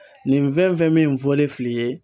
Nin fɛn fɛn min fɔlen fil'i ye